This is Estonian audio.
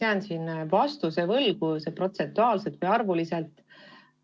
Ma kahjuks jään vastuse võlgu, kui palju neid protsentuaalselt või arvuliselt on.